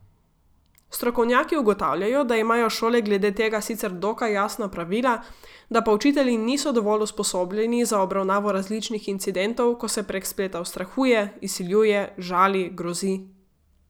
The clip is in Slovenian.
Strokovnjaki ugotavljajo, da imajo šole glede tega sicer dokaj jasna pravila, da pa učitelji niso dovolj usposobljeni za obravnavo različnih incidentov, ko se prek spleta ustrahuje, izsiljuje, žali, grozi ...